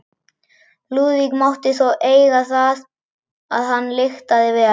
Lúðvík mátti þó eiga það að hann lyktaði vel.